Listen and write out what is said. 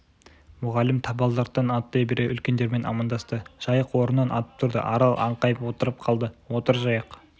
мүғалім табалдырықтан аттай бере үлкендермен амандасты жайық орнынан атып тұрды арал аңқайып отырып қалды отыр жайық